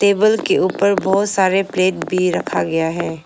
Table के ऊपर बहुत सारे प्लेट भी रखा गया है।